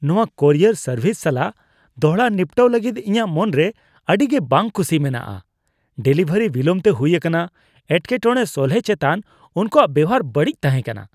ᱱᱚᱶᱟ courier service ᱥᱟᱞᱟᱜ ᱫᱚᱲᱦᱟ ᱱᱤᱯᱴᱟᱹᱣ ᱞᱟᱹᱜᱤᱫ ᱤᱧᱟᱹᱜ ᱢᱚᱱᱨᱮ ᱟᱹᱰᱤᱜᱮ ᱵᱟᱝ ᱠᱩᱥᱤ ᱢᱮᱱᱟᱜᱼᱟ ᱾ ᱰᱮᱞᱤᱵᱷᱟᱹᱨᱤ ᱵᱤᱞᱚᱢ ᱛᱮ ᱦᱩᱭ ᱟᱠᱟᱱᱟ, ᱮᱴᱠᱮᱴᱚᱲᱮ ᱥᱚᱞᱦᱮᱭ ᱪᱮᱛᱟᱱ ᱚᱱᱠᱩᱣᱟᱜ ᱵᱮᱣᱦᱟᱨ ᱵᱟᱹᱲᱤᱡ ᱛᱟᱦᱮᱸ ᱠᱟᱱᱟ ᱾